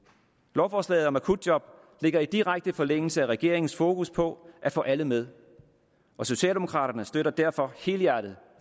lovforslaget om akutjob ligger i direkte forlængelse af regeringens fokus på at få alle med og socialdemokraterne støtter derfor helhjertet